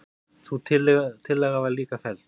Sú tillaga var líka felld.